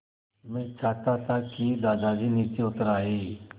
मैं चाहता था कि दादाजी नीचे उतर आएँ